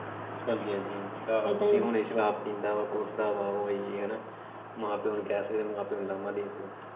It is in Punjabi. ਹਾਂਜੀ ਹਾਂਜੀ ਆਹੋ ਕਿ ਹੁਣ ਇਹ ਸ਼ਰਾਬ ਪੀਂਦਾ ਵਾ ਕੁੱਟਦਾ ਵਾ ਉਹ ਯੇਹ ਹਨਾ ਮਾਂ ਪਿਓ ਨੂੰ ਕਹਿ ਸਕਦੇ ਆਂ ਮਾਂ ਪਿਓ ਉਲਾਂਭਾ ਦੇ ਸਕਦੇ ਆਂ।